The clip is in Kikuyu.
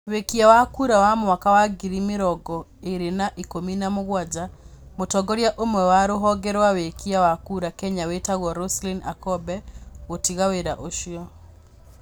Wĩkia wa kura wa mwaka wa ngiri mirongo ĩĩrĩ na ikumi na mugwaja: Mũtongoria ũmwe wa rũvonge rwa wikia wa kura Kenya wĩtagwo Roselyn Akombe gũtiga wĩra ucio.